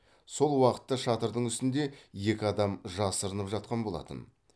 сол уақытта шатырдың үстінде екі адам жасырынып жатқан болатын